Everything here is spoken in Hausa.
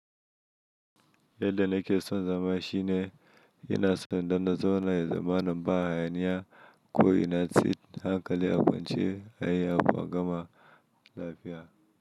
Yadda na ke son zama shine ina son don da zaune zamanin ba hayaniya ko ina tsit hankali a kwance a yi abu a gama lafiya.